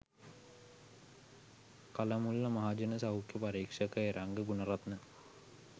කලමුල්ල මහජන සෞඛ්‍ය පරීක්ෂක එරංග ගුණරත්න